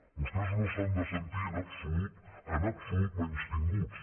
vostès no s’han de sentir en absolut en absolut menystinguts